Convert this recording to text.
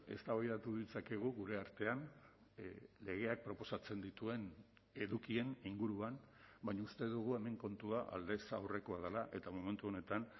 eztabaidatu ditzakegu gure artean legeak proposatzen dituen edukien inguruan baina uste dugu hemen kontua aldez aurrekoa dela eta momentu honetan